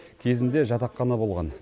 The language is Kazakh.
кезінде жатақхана болған